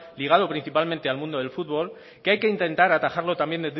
ligado principalmente al mundo del fútbol que hay que intentar atajarlo también